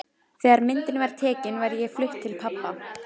Þegar myndin var tekin var ég flutt til pabba.